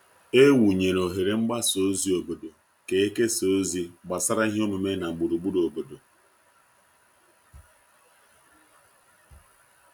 E wụnyere oghere mgbasa ozi obodo ka e kesaa ozi gbasara ihe omume na gburugburu obodo.